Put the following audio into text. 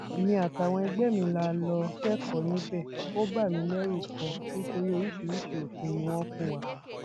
èmi àtàwọn ẹgbẹ mi la lọọ kẹkọọ níbẹ ó bà mí lẹrù ganan nítorí oríṣiríṣii òfin ni wọn fún wa